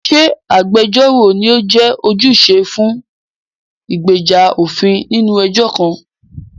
Ṣé agbẹjọ́rò ni ó jẹ́ ojúṣe fún ìgbèjà òfin nínú ẹjọ́ kan?